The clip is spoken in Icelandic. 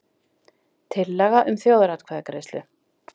Tillaga um þjóðaratkvæðagreiðslu